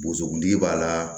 Boso kuntigi b'a la